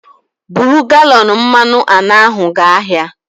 Buru galọn mmanụ anọ ahụ gaa ahịa